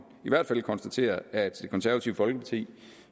i hvert fald konstatere at det konservative folkeparti